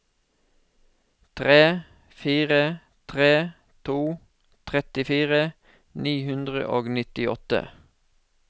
tre fire tre to trettifire ni hundre og nittiåtte